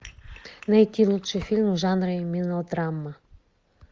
найти лучшие фильмы в жанре мелодрама